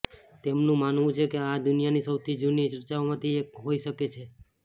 તેમનું માનવું છે કે આ દુનિયાની સૌથી જૂની ચર્ચોમાંથી એક હોઈ શકે છે